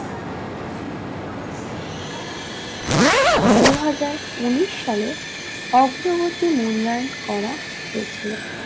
দুহাজার উনিশ সালে অগ্রবর্তী মূল্যায়ন করা হয়েছিল